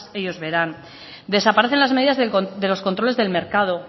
ellos verán desaparecen las medidas de los controles del mercado